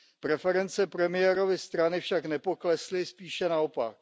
Preference premiérovy strany však nepoklesly, spíše naopak.